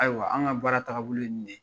Ayiwa anw ka baara taagabolo ye nin de yen,